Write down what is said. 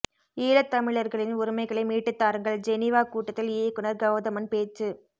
ஈழத்தமிழர்களின் உரிமைகளை மீட்டு தாருங்கள் ஜெனீவா கூட்டத்தில் இயக்குனர் கவுதமன் பேச்சு